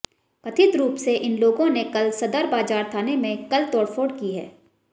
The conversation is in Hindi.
कथित रूप से इन लोगों ने कल सदर बाजार थाने में कल तोड़फोड़ की है